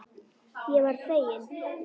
Ég varð fegin.